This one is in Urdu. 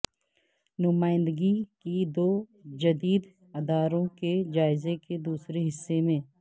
نمائندگی کی دو جدید اداروں کے جائزے کے دوسرے حصے میں